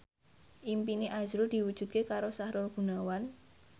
impine azrul diwujudke karo Sahrul Gunawan